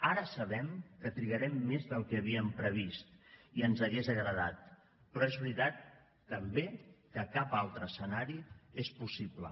ara sabem que trigarem més del que havíem previst i ens hagués agradat però és veritat també que cap altre escenari és possible